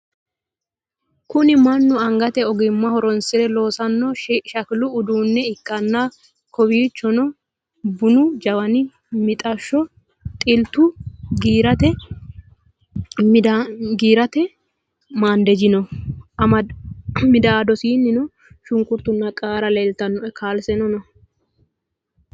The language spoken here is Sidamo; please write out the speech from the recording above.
Kunni mannu anigate ogima horonisire loosanno shakkili uduune ikkana kowichonno bunu jawwani, mixxasho, xilittu, giiratte maniddajji noo middadonisaninno shunikkurittuna qaara leelitanno kasaleno noo